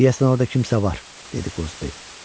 Deyəsən orda kimsə var, dedi Qozbel.